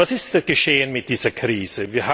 Was ist geschehen mit dieser Krise?